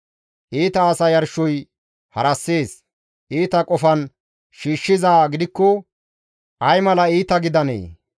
Iita asa yarshoy harassees; iita qofan shiishshizaa gidikko ay mala iita gidanee?